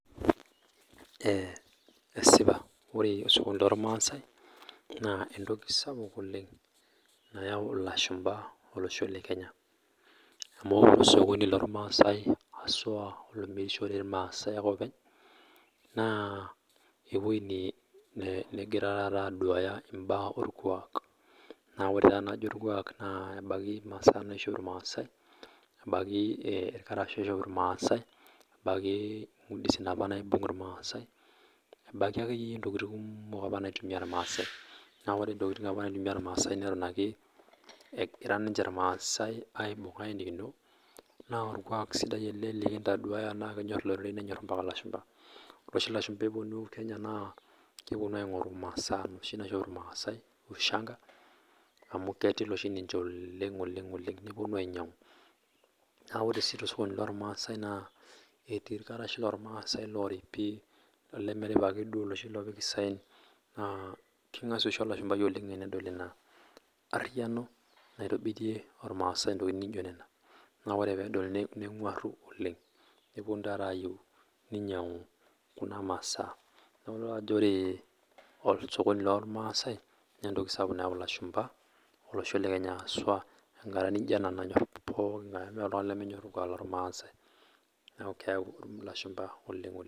Eeh eeh esipa ore osokoni lormasai naa entoki sapuk oleng' nayau ilashumba olosho le Kenya amu ore osokoni lormasai ashu aa olomirishore ilmasai oopeny naa ewuo negira taata aduaya imbaa olkuak naa ore taa tenajo imbaa olkuak naa ebaiki masaa naishop ilmasai, ebaiki ilkarash oishop ilmasai, ebaiki ngusidin opa naibung' ilmaasai ,ebaiki akeyie ntokiting kumok opa naitumia ilmaasai naa ore ntokiting opa naitumia ilmaasai neton ake egira ninche ilmaasai aibung' ayenikino naa olkuak sidai ele likintoduaya naa kenyor iloreren mpaka ilashumba, ore oshi ilashumba epuonu Kenya naa kepuonu aing'oru masaa noshi naishop ilmaasai ushanga amu ketil oshi ninche oleng' oleng'oleng' nepuonu ainyang' Naa ore sii tosokoni lormaasai naa etii ilkarash lormaasai looripi olemeripa ake duo loshi loopiki isaen naa king'asia oshi olashumbai oleng' enedol ina arhiyiano naitobirie ilmasai ntokiting' naijo nena na ore peedol neng'warhu oleng nepuonu taata aayieu ninyang'u kuna masaa neeeku taata ore osokoni lormaasai naa entoki sapuk nayau ilashumba olosho le Kenya aswa enkata naijo ena nanyor pookinga'e amu meeta oltung'ani lemenyor olkuak lormaasai niaku keyau ilashumba oleng'